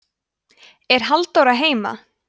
er halldóra heima